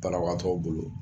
Banabagatɔw bolo